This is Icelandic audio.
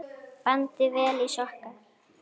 Bandið vel í sokka.